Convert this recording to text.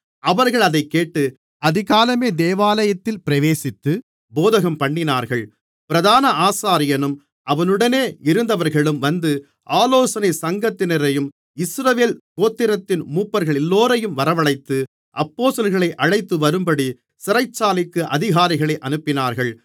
அவர்கள் அதைக்கேட்டு அதிகாலமே தேவாலயத்தில் பிரவேசித்து போதகம்பண்ணினார்கள் பிரதான ஆசாரியனும் அவனுடனே இருந்தவர்களும் வந்து ஆலோசனைச் சங்கத்தினரையும் இஸ்ரவேல் கோத்திரத்தின் மூப்பர்களெல்லோரையும் வரவழைத்து அப்போஸ்தலர்களை அழைத்துவரும்படி சிறைச்சாலைக்கு அதிகாரிகளை அனுப்பினார்கள்